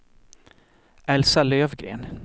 Elsa Lövgren